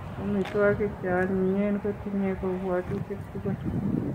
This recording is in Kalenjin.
Omituokik chionyinyen kutinyei kobwotutik tugul.